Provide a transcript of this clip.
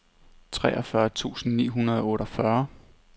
treogfyrre tusind ni hundrede og otteogfyrre